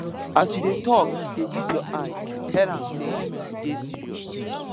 as you dey tok dey use your eye tell am sey you dey serious